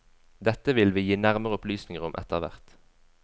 Dette vil vi gi nærmere opplysninger om etter hvert.